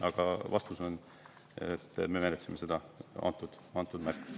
Aga vastus on, et me ka seda märkust.